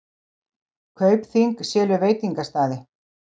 Kaupþing selur veitingastaði